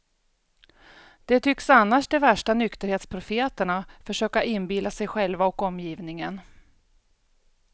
Det tycks annars de värsta nykterhetsprofeterna försöka inbilla sig själva och omgivningen.